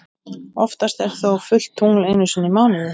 Oftast er þó fullt tungl einu sinni í mánuði.